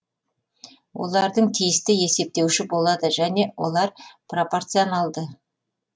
олардың тиісті есептеуіші болады және олар пропорционалды